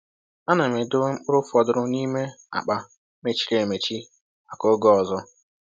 A na m edobe mkpụrụ fọdụrụ n’ime akpa mechiri emechi maka oge ọzọ.